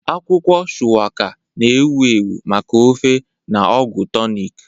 Akwụkwọ Shuwaka, na-ewu ewu maka ofe na ọgwụ tonik.